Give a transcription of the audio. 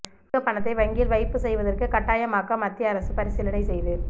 அதிக பணத்தை வங்கியில் வைப்பு செய்வதற்கு கட்டாயமாக்க மத்திய அரசு பரிசீலனை செய்து